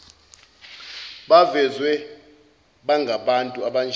bavezwe bangabantu abanjani